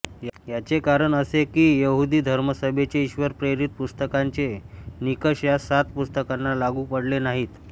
याचे कारण असे की यहुदी धर्मसभेचे ईश्वरप्रेरित पुस्तकांचे निकष या सात पुस्तकांना लागू पडले नाहीत